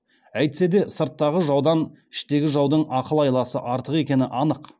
әйтсе де сырттағы жаудан іштегі жаудың ақыл айласы артық екені анық